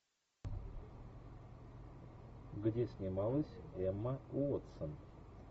где снималась эмма уотсон